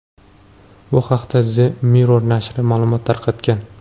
Bu haqda The Mirror nashri ma’lumot tarqatgan .